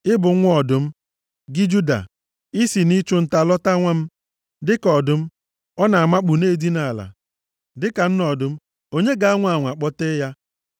Ị bụ nwa ọdụm, gị, Juda, i si nʼịchụ nta lọta, nwa m. Dịka ọdụm, ọ na-amakpu, na-edina ala, dịka nne ọdụm, onye ga-anwa anwa kpọtee ya?